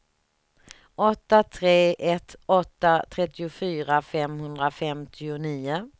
åtta tre ett åtta trettiofyra femhundrafemtionio